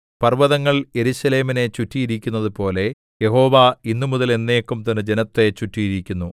പർവ്വതങ്ങൾ യെരൂശലേമിനെ ചുറ്റിയിരിക്കുന്നതുപോലെ യഹോവ ഇന്നുമുതൽ എന്നേക്കും തന്റെ ജനത്തെ ചുറ്റിയിരിക്കുന്നു